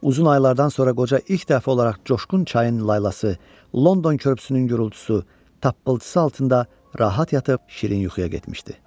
Uzun aylardan sonra qoca ilk dəfə olaraq coşqun çayın laylası, London körpüsünün gurultusu, tappıltısı altında rahat yatıb şirin yuxuya getmişdi.